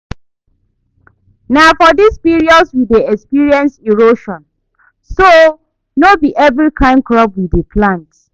Na for dis period we dey experience erosion so no be every kyn crop we dey plant